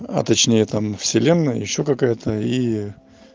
а точнее там вселенной ещё какая-то и